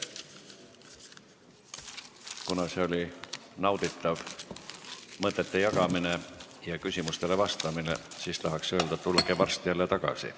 Kuna see oli nauditav mõtete jagamine ja küsimustele vastamine, siis tahaks öelda, et tulge varsti jälle tagasi.